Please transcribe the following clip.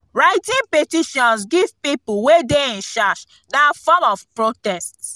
writting petitions give people wey de in charge na form of protest